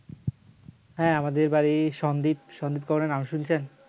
হ্যাঁ আমাদের বাড়ি সন্দ্বীপ সন্দ্বীপ গড়ের নাম শুনেছেন